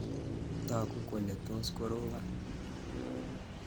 Tagu kole tos koropon.